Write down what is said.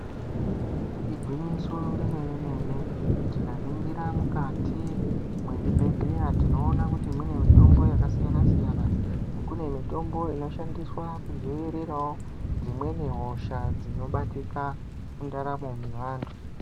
Igwinyiso remene-mene, tikaningira mukati mezvibhedhlera tinoona kuti mune mitombo yakasiyana-siyana. Kune mitombo inoshandiswawo kudziirira dzimweni hosha dzinobatika mundaramo mevantu.